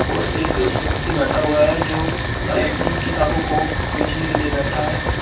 और एक व्यक्ति बैठा हुआ है जो शायद उन किताबों को बेचने के लिए बैठा है।